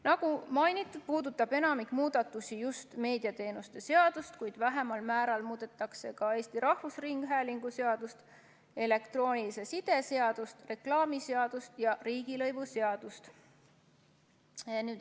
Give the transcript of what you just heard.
Nagu mainitud, puudutab enamik muudatusi just meediateenuste seadust, kuid vähemal määral muudetakse ka Eesti Rahvusringhäälingu seadust, elektroonilise side seadust, reklaamiseadust ja riigilõivuseadust.